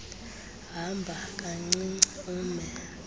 hamba kancinci ume